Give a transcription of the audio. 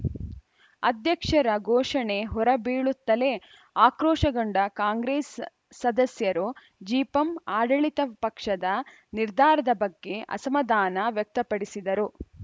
ಅಧ್ಯಕ್ಷರ ಘೋಷಣೆ ಹೊರ ಬೀಳುತ್ತಲೇ ಆಕ್ರೋಶಗೊಂಡ ಕಾಂಗ್ರೆಸ್‌ ಸದಸ್ಯರು ಜಿಪಂ ಆಡಳಿತ ಪಕ್ಷದ ನಿರ್ಧಾರದ ಬಗ್ಗೆ ಅಸಮಾಧಾನ ವ್ಯಕ್ತಪಡಿಸಿದರು